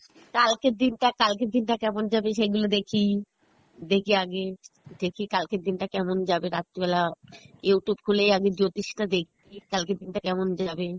কালকের দিন টা, কালকের দিন টা কেমন যাবে সেগুলো দেখি, দেখি আগে দেখি কালকের দিন টা কেমন যাবে রাত্রি বেলা Youtube খুলেই আমি জ্যোতিষী টা দেখি কালকের দিন টা কেমন যাবে,